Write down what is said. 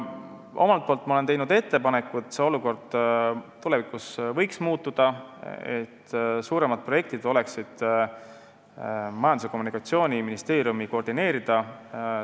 Mina olen teinud ettepaneku, et see olukord võiks tulevikus muutuda, st suuremad projektid võiksid olla Majandus- ja Kommunikatsiooniministeeriumi koordineerida.